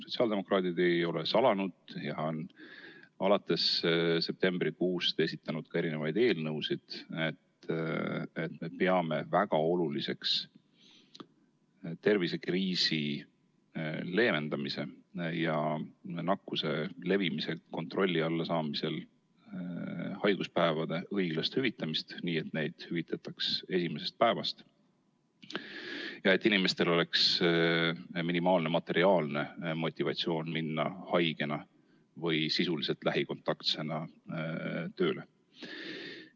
Sotsiaaldemokraadid ei ole salanud ja on alates septembrikuust ka esitanud mitu eelnõu, et näidata, et me peame väga oluliseks tervisekriisi leevendamisel ja nakkuse levimise kontrolli alla saamisel haiguspäevade õiglast hüvitamist, nii et neid hüvitataks esimesest päevast ja et inimestel oleks minimaalne materiaalne motivatsioon minna haigena või lähikontaktsena tööle.